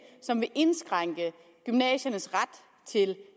som vil indskrænke gymnasiernes ret til